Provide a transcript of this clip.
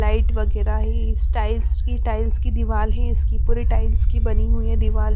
light वगैरा ही styles की टाइल्स की दीवाल ही इसकी पूरी टाइल्स की बनी हुई है दीवाल --